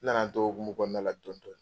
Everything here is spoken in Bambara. N nana n to o hokumu kɔnɔnala dɔɔni dɔɔni .